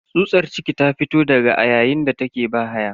Tsutsar ciki ta fito daga a yayin da take bahaya.